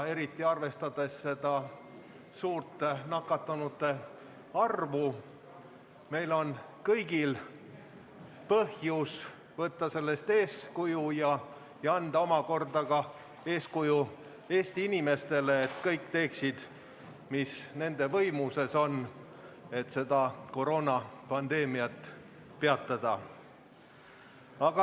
Eriti arvestades suurt nakatunute arvu, on meil kõigil põhjust võtta sellest eeskuju ja anda omakorda head eeskuju Eesti inimestele, nii et kõik teeksid, mis on nende võimuses, et seda koroonapandeemiat peatada.